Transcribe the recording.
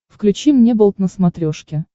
включи мне болт на смотрешке